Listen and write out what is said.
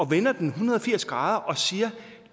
vender den en hundrede og firs grader og siger